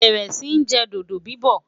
bẹrẹ Si jẹ dodo bibọ